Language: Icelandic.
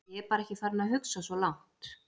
Ég bara er ekki farinn að hugsa svo langt.